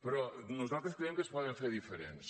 però nosaltres creiem que es poden fer diferents